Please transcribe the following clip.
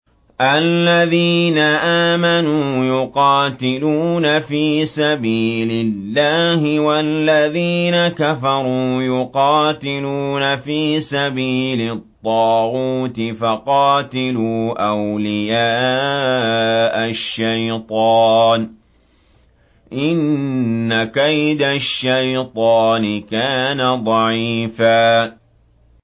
الَّذِينَ آمَنُوا يُقَاتِلُونَ فِي سَبِيلِ اللَّهِ ۖ وَالَّذِينَ كَفَرُوا يُقَاتِلُونَ فِي سَبِيلِ الطَّاغُوتِ فَقَاتِلُوا أَوْلِيَاءَ الشَّيْطَانِ ۖ إِنَّ كَيْدَ الشَّيْطَانِ كَانَ ضَعِيفًا